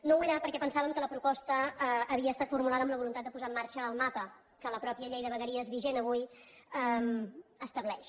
no ho era perquè pensàvem que la proposta havia estat formulada amb la voluntat de posar en marxa el mapa que la mateixa llei de vegueries vigent avui estableix